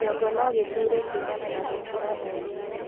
kĩongo nogĩgũtuure kuumana na gũkĩra o rĩmwe